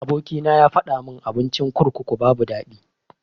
Aboki na yafadamin abincin kurkuku babu daɗi.